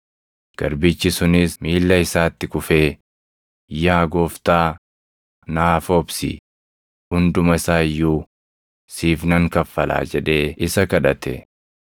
“Garbichi sunis miilla isaatti kufee, ‘Yaa gooftaa, naaf obsi; hunduma isaa iyyuu siif nan kaffalaa’ jedhee isa kadhate.